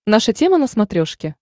наша тема на смотрешке